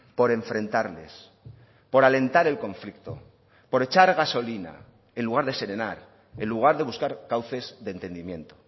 por enfrentarles por alentar el conflicto por echar gasolina en lugar de serenar en lugar de buscar cauces de entendimiento